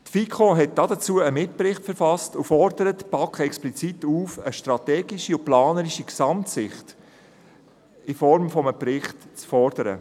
Die FiKo hat dazu einen Mitbericht verfasst und fordert die BaK explizit dazu auf, eine strategische und planerische Gesamtsicht in Form eines Berichts zu fordern.